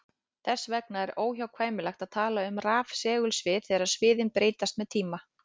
Þess vegna er óhjákvæmilegt að tala um rafsegulsvið þegar sviðin breytast með tíma.